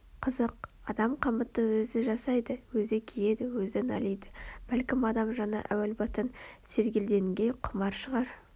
Қызық адам қамытты өзі жасайды өзі киеді өзі налиды бәлкім адам жаны әуел бастан сергелдеңге құмар шығар